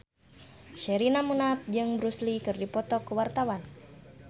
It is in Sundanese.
Sherina Munaf jeung Bruce Lee keur dipoto ku wartawan